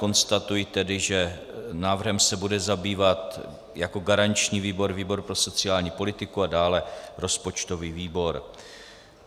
Konstatuji tedy, že návrhem se bude zabývat jako garanční výbor výbor pro sociální politiku a dále rozpočtový výbor.